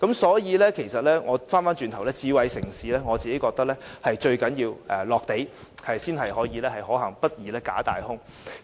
所以，其實我認為智慧城市最重要的是實用，才會可行，不宜"假大空"。